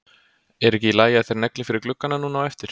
Er ekki í lagi að þeir negli fyrir gluggana núna á eftir?